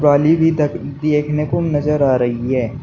पाली भी दख देखने को नजर आ रही है।